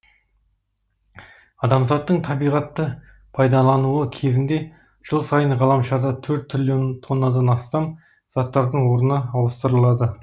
адамзаттың табиғатты пайдалануы кезінде жыл сайын ғаламшарда төрт триллион тоннадан астам заттардың орны ауыстырылады